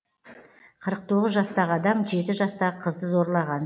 қырық тоғыз жастағы адам жеті жастағы қызды зорлаған